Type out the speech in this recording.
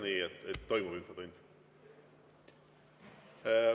Nii et toimub infotund.